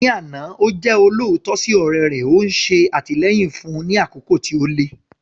Ní àná, ó jẹ́ olóòótọ́ sí ọ̀rẹ́ rẹ̀, ó ń ṣe àtìlẹ́yìn fún un ní àkókò tí ó le.